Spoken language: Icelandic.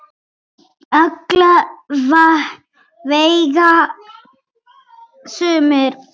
Alla vega sumir.